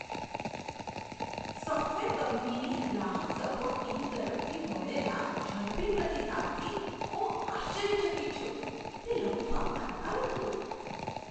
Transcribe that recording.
Software કંપનીની ગ્રાહક support team તરફથી મળેલા ઝડપી પ્રતિસાદથી હું આશ્ચર્યચકિત છું. તે લગભગ તાત્કાલિક હતું!